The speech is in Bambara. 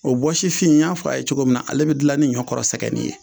O bɔsifin in y'a fɔ a ye cogo min na ale bɛ dilan ni ɲɔ kɔrɔ sɛgɛnin ye